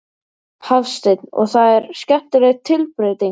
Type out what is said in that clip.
Hafsteinn: Og það er skemmtileg tilbreyting?